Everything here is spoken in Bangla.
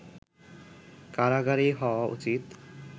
কারাগারেই হওয়া উচিৎ